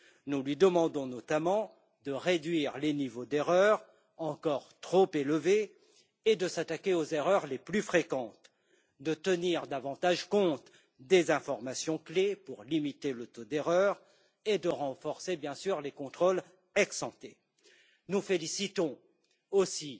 Nous lui demandons notamment de réduire les niveaux d'erreurs encore trop élevés et de s'attaquer aux erreurs les plus fréquentes, de tenir davantage compte des informations clés pour limiter le taux d'erreur et, bien entendu, de renforcer les contrôles ex ante. Toutefois, nous félicitons aussi